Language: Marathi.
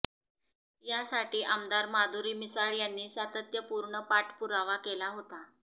यासाठी आमदार माधुरी मिसाळ यांनी सातत्यपूर्ण पाठपुरावा केला होता